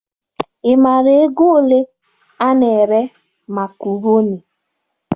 Ị maara ego ole ana ere makroni?